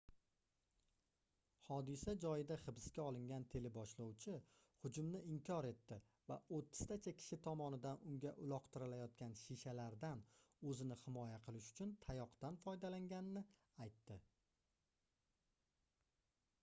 hodisa joyida hibsga olingan teleboshlovchi hujumni inkor etdi va oʻttiztacha kishi tomonidan unga uloqtirilayotgan shishalardan oʻzini himoya qilish uchun tayoqdan foydalanganini aytdi